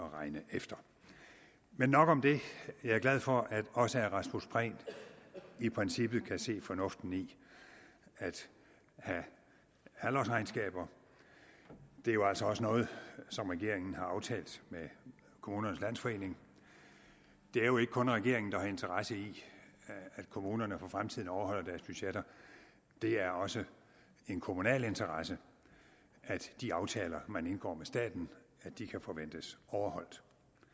at regne efter men nok om det jeg er glad for at også herre rasmus prehn i princippet kan se fornuften i at have halvårsregnskaber det er altså også noget som regeringen har aftalt med kommunernes landsforening det er jo ikke kun regeringen der har interesse i at kommunerne for fremtiden overholder deres budgetter det er også en kommunal interesse at de aftaler man indgår med staten kan forventes overholdt